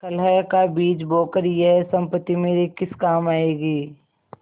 कलह का बीज बोकर यह सम्पत्ति मेरे किस काम आयेगी